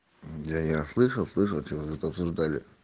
я я слышал слышал что вы тут обсуждали